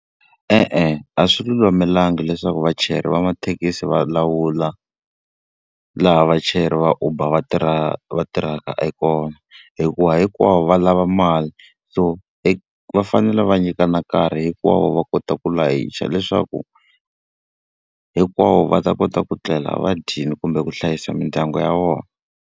E-e, a swi lulamelangi leswaku vachayeri va mathekisi va lawula laha vachayeri va Uber va va tirhaka e kona, hikuva hinkwavo va lava ma mali. So va fanele va nyikana nkarhi hinkwawo va kota ku layicha leswaku hinkwavo va ta kota ku tlela va dyile kumbe ku hlayisa mindyangu ya vona.